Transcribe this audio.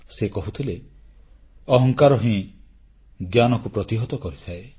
ସେ କହୁଥିଲେ ଅହଙ୍କାର ହିଁ ଜ୍ଞାନକୁ ପ୍ରତିହତ କରିଥାଏ